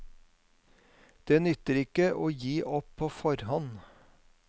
Det nytter ikke å gi opp på forhånd.